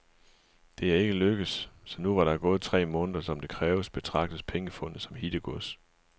Det er ikke lykkedes, så nu hvor der er gået tre måneder, som det kræves, betragtes pengefundet som hittegods.